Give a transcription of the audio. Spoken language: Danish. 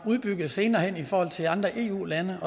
udbygget senere hen i forhold til andre eu lande